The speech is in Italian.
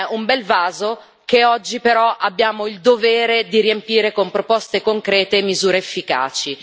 Un bel vaso che oggi, però, abbiamo il dovere di riempire con proposte concrete e misure efficaci.